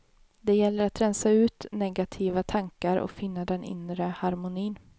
Det gäller att rensa ut negativa tankar och finna den inre harmonin.